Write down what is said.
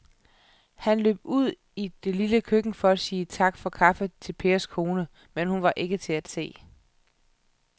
Han løb ud i det lille køkken for at sige tak for kaffe til Pers kone, men hun var ikke til at se.